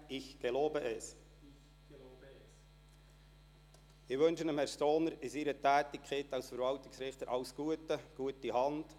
Ich wünsche Herrn Stohner in seiner Tätigkeit als Verwaltungsrichter alles Gute und eine gute Hand.